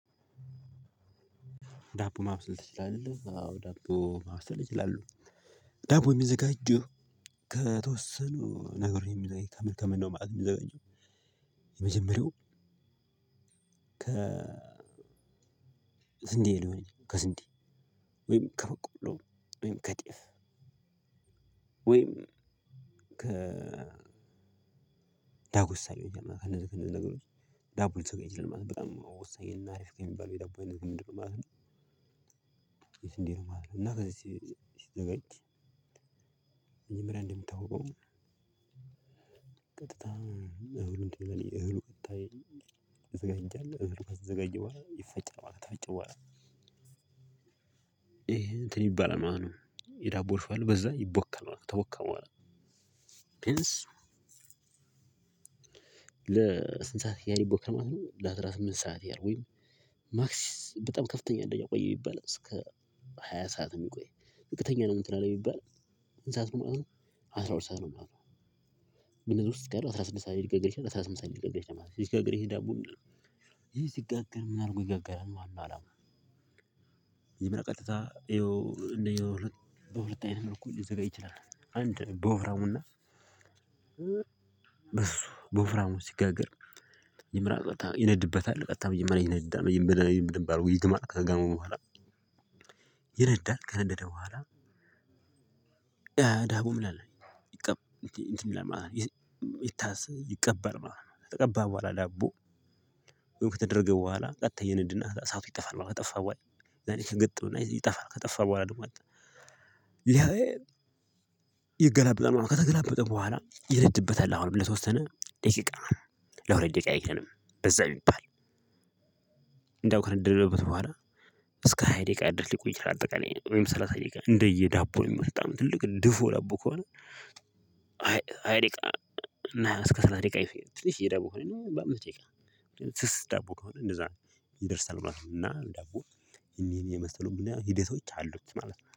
ዳቦ ማብሰል ትችላለህ። አዎ ዳቦ ማብሰል ይችላሉ ዳቦ የሚዘጋጀው ከተወሰኑ ነገር ከመልከም ነው ማለት የሚዘጋጀው የመጀመሪያው ከ ስንዴ ሊሆን ይችላል ከስንዴ ወይም ከበቆሎ ወይም ከጤፍ ወይም ከ ዳጉሳ ነው የምናደርገው እነዚህ እነዚህ ነገሮች ዳቦ ወሳኝ በጣም ወሳኝ እና እሪፍ የሚባለው የዳቦ አይነት ምንድነው ማለት ነው? የስንዴ ነው ማለት ነው እና ከዚህ ሲዘጋጅ መጀመሪያ እንደሚታወቀው ቀጥታ እህሉን እንዴ እህሉ ቀጥታ ይዘጋጃል እህሉ ከተዘጋጀ በኋዋ ይፈጫል ከተፈጨ በኋላ ይሄ እንትን ይባላል ማለት ነው። የዳቦ ሽሆ አለ በዛ ይቦካል። ከተቦካ በኋላ ፕሪንስ ለስንት ሰዓት ያህል ይቦካል ማለት ነው። ለአስራ ስምንት ሰዓት ያህል ወይም ማክሲስ በጣም ከፍተኛ ነው። የቆየው ቢባል እስከ ሃያ ሰዓት የሚቆይ ዝቅተኛ ነው እንትን አለ የሚባል ስንት ሰዓት ነው ማለት ነው አስራ ሁለት ሰዓት ነው ማለት ነው። እነኚህ ነገሮች አስራ ስድስት ሰዓት ሊጋገር ይችላል። አስራ ስምንት ሰዓት ሊጋገር ይችላል ማለት ነው። ሲጋገር ይሄ ዳቦ ይሄ ሲጋገር ምን አድርጎ ይጋገራል አለው አላውቅም በራሱ ቀጥታ ይኸው እንደየ በሁለት አይነት መልኩ ሊዘጋጅ ይችላል። አንድ በወፍራሙና በስሱ በወፍራሙ ሲጋገር መጀመሪያ ቀጥታ ይነድበታል ቀጥታ መጀመሪያ ይነዳል መጀመሪያ ይመረይ ይባር ውይይት ማለት ከጋመሙ በኋላ ይነዳል ከነደደ በኋላ ዳቡም ምናምን ይቀበር እንትንይላል ማለት ይታሰ ዳቦ ኩፍ ከተደረገ በኋላ ቀጥታ ይነድና እሳቱ ይጠፋል ከጠፋ ወይ ዛሬ ከግጥም እና ይጠፋል ከጠፋ በኋላ ደግሞ አለ ደግሞ ይሄ ይገላበጣል ማለት ነው። ከተገላበጠ በኋላ ይነድበታል አሁን ለተወሰነ ደቂቃ ለአራት ደቂቃ አይቀንም በዛ ቢባል እንደው ካነደድንበት በኋላ እስከ ሃያ ደቂቃ ያህል ድረስ ሊቆይ ይችላል። እንደ አጠቃላይ ወይም ሰላሳ ደቂቃ እንደየ ዳቦ የሚመስጠው ትልቅ ድፎ ዳቦ ከሆነ ሃያ ደቂቃ እስከ ሰላሳ ደቂቃ ትንሽዬ ዳቦ ከሆነ በአምስት ደቂቃ ስስ ዳቦ ከሆነ እንደዛ ይደርሳል ማለት ነው። እና ዳቦ ይሄን ይሄን የመሰሉ ሂደቶች አሉት ማለት ነው።